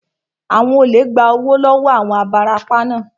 Àwọn olè gba owó lọ wọọ àwọn onibarapa naa